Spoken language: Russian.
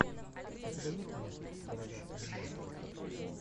у тебя есть мультик короля мма